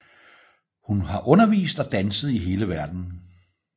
Hun har undervist og danset i hele verdenen